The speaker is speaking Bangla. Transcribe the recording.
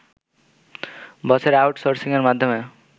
বছরে আউট সোর্সিংয়ের মাধ্যমে